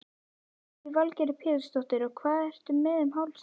Lillý Valgerður Pétursdóttir: Og hvað ertu með um hálsinn?